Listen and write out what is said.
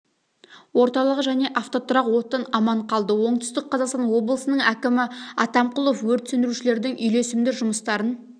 орталығы және автотұрақ оттан аман қалды оңтүстік қазақстан облысының әкімі атамқұлов өрт сөндірушілердің үйлесімді жұмыстарын